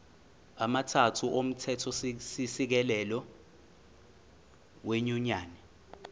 amathathu omthethosisekelo wenyunyane